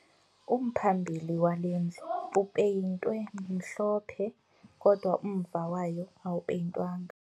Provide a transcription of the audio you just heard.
Umphambili wale ndlu upeyintwe mhlophe kodwa umva wayo awupeyintwanga